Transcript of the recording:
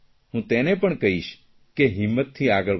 હું તેને પણ કહીશ કે હિંમતથી આગળ વધ